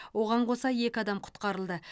оған қоса екі адам құтқарылды